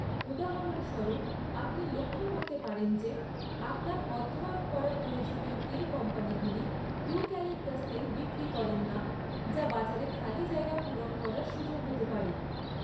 উদাহরণস্বরূপ, আপনি লক্ষ্য করতে পারেন যে আপনার অধ্যয়ন করা প্রয়োজনীয় তেল কোম্পানিগুলি, ইউক্যালিপটাস তেল বিক্রি করেন না, যা বাজারে খালি জায়গা পূরণ করার সুযোগ হতে পারে।